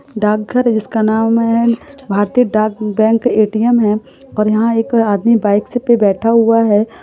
डाकघर है जिसका नाम है भारतीय डाक बैंक एटीएम है यहां पे एक आदमी बाइक पे बिठा हुआ है।